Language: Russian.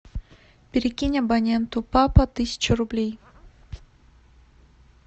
перекинь абоненту папа тысячу рублей